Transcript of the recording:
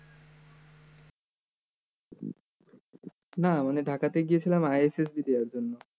না মানে ঢাকায় গিয়েছিলাম ISSB দেয়ার জন্য